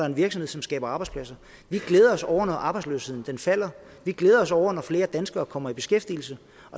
en virksomhed som skaber arbejdspladser vi glæder os over når arbejdsløsheden falder vi glæder os over når flere danskere kommer i beskæftigelse